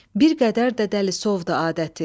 Bir qədər də dəlisovdu adəti.